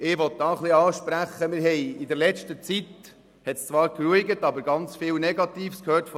» Damit spreche ich an, dass man von diesen KESB viel Negatives gehört hat.